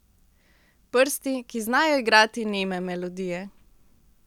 Prsti, ki znajo igrati neme melodije.